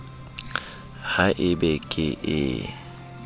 ha e be ke ee